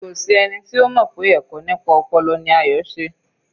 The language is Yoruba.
Kò sí ẹni tí ó mọ̀ pé ẹ̀kọ́ nípa ọpọlọ ni Ayo se